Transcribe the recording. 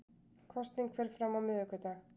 Kosning fer fram á miðvikudag